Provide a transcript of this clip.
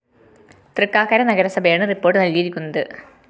തൃക്കാക്കര നഗരസഭയാണ് റിപ്പോർട്ട്‌ നസ്‌കിയിരിക്കുന്നത്